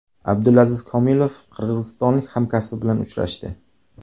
Abdulaziz Komilov qirg‘izistonlik hamkasbi bilan uchrashdi.